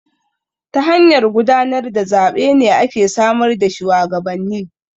Ta hanyar gudanar da zaɓe ne ake samar da shuwagabanni.